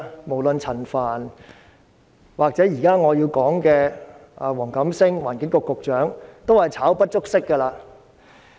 無論是陳帆或我現在想說的環境局局長黃錦星，同樣是"炒"不足惜。